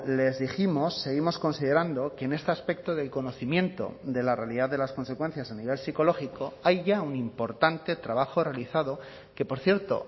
les dijimos seguimos considerando que en este aspecto del conocimiento de la realidad de las consecuencias a nivel psicológico hay ya un importante trabajo realizado que por cierto